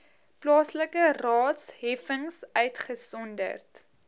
plaaslike raadsheffings uitgesonderd